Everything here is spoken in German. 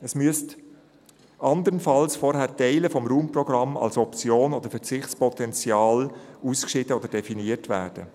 Es müssten andernfalls vorher Teile des Raumprogramms als Option oder Verzichtspotenzial ausgeschieden oder definiert werden.